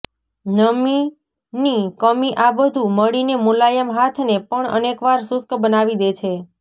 નમીની કમી આ બધુ મળીને મુલાયમ હાથને પણ અનેકવાર શુષ્ક બનાવી દે છે